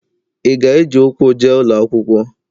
Ị ga-eji ụkwụ je ụlọ akwụkwọ?